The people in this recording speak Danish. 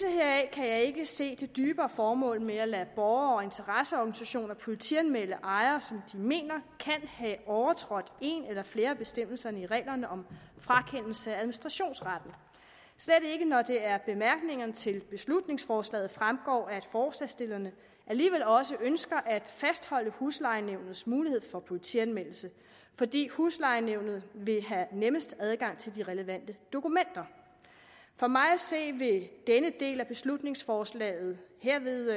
kan jeg ikke se det dybere formål med at lade borgere og interesseorganisationer politianmelde ejere som de mener kan have overtrådt en eller flere bestemmelser i reglerne om frakendelse af administrationsretten slet ikke når det af bemærkningerne til beslutningsforslaget fremgår at forslagsstillerne alligevel også ønsker at fastholde huslejenævnets mulighed for politianmeldelse fordi huslejenævnet vil have nemmest adgang til de relevante dokumenter for mig at se vil denne del af beslutningsforslaget herved